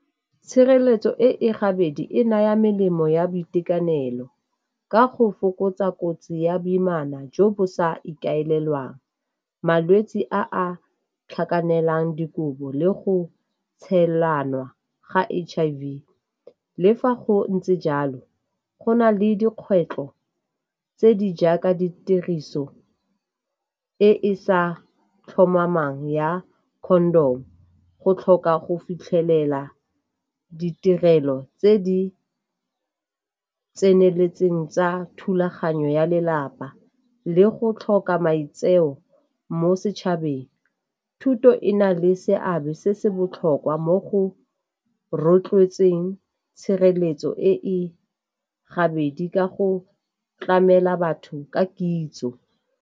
Tshireletso e e gabedi e naya melemo ya boitekanelo ka go fokotsa kotsi ya boimana jo bo sa ikaelelwang, malwetse a a tlhakanela dikobo le go tshela nwa ga H_I_V. Le fa go ntse jalo go na le dikgwetlho tse di jaaka ditiriso e e sa tlhomamang ya condom go tlhoka go fitlhelela ditirelo tse di tseneletseng tsa thulaganyo ya lelapa, le go tlhoka maitseo mo setšhabeng. Thuto e na le seabe se se botlhokwa mo go rotloetseng tshireletso e gabedi ka go tlamela batho ka kitso.